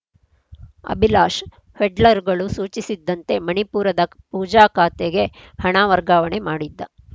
ಅಭಿಲಾಷ್‌ ಪೆಡ್ಲರ್‌ಗಳು ಸೂಚಿಸಿದ್ದಂತೆ ಮಣಿಪುರದ ಪೂಜಾ ಖಾತೆಗೆ ಹಣ ವರ್ಗಾವಣೆ ಮಾಡಿದ್ದ